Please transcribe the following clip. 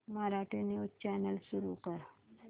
Marathi news channel सुरू कर